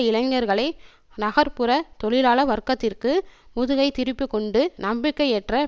இளைஞர்களை நகர் புற தொழிலாள வர்க்கத்திற்கு முதுகை திருப்பிக்கொண்டு நம்பிக்கையற்ற